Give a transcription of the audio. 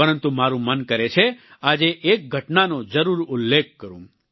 પરંતુ મારું મન કરે છે આજે એક ઘટનાનો જરૂર ઉલ્લેખ કરું